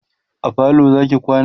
a falo Zaki kwana?